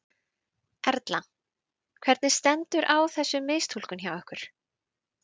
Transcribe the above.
Erla: Hvernig stendur á þessu mistúlkun hjá ykkur?